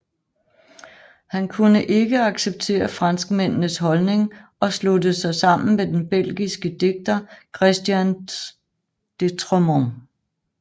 Han kunne ikke acceptere franskmændenes holdning og sluttede sig sammen med den belgiske digter Christian Dotremont